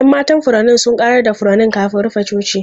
Yan matan furanni sun ƙarar da furanni kafin rufe coci.